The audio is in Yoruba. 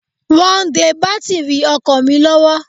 Wọ́n de bátìrì ọkọ̀ mi lọ́wọ́.